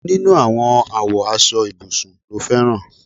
Èwo nínú àwọn àwo aṣọ ibùsùn ló fẹran?